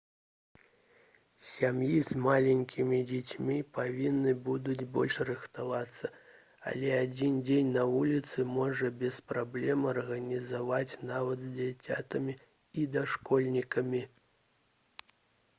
сем'і з маленькімі дзецьмі павінны будуць больш рыхтавацца але адзін дзень на вуліцы можна без праблем арганізаваць нават з дзіцянятамі і дашкольнікамі